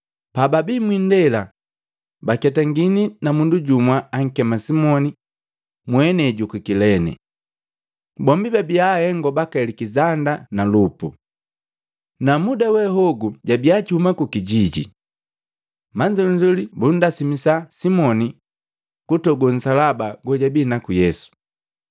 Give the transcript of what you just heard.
Pababii mwiindela, baketangini na mundu jumwa ankema Simoni, mwenei juku Kilene. Bombi babia ahengo baka Alekizanda na Lupu. Na muda we hogu jabia juhuma kukijijini. Manzolinzoli bundasimisa Simoni kutogo nsalaba gojabii naku Yesu.